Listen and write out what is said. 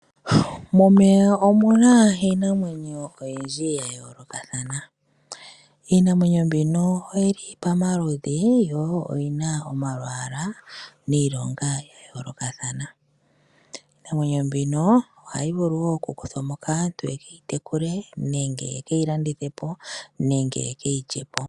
Momeya omuna iinamwenyo oyindji yayolokathana iinamwenyo mbino oyili pamaludhi, yo oyina omalwaala niilonga yayolokathana. Iinamwenyo mbika ohayi vulu okukuthwamo kaantu yeke yitekule nenge yekeyi landithepo nenge yekeyilyepo.